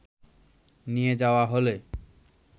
নিয়ে যাওয়া হলে